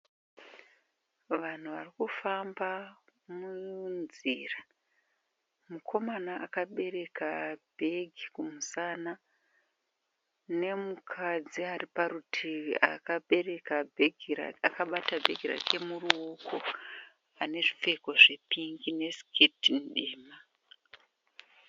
Vanhu varikufamba munzira. Mukomana akabereka bhegi kumusana nemukadzi ari parutivi akabata bhegi rake muruoko ane zvipfeko zvepingi nesiketi tema.